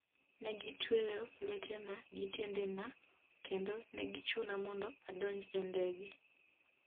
negitweyo lwetena gi tiendena kendo negichuna mondo adonj e ndege